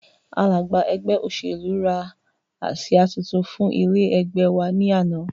Alága ẹgbẹ́ òṣèlú rà àsìá títún fún ilé ẹgbẹ́ wa ní àná